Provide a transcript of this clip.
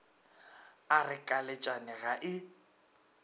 a re kalatšane ga e